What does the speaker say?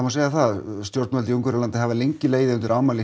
segja það stjórnvöld í Ungverjalandi hafa legið legið undir ámæli